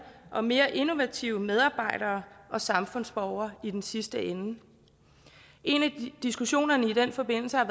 og mere innovative medarbejdere og samfundsborgere i den sidste ende en af diskussionerne i den forbindelse har